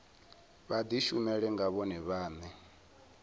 vha dishumele nga vhone vhane